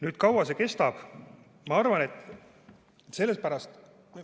Kui kaua see kestab?